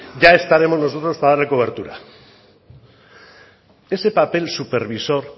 ya estaremos nosotros para darle cobertura ese papel supervisor